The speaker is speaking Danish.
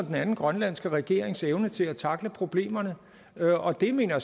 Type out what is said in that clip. den anden grønlandske regerings evne til at tackle problemerne og det mener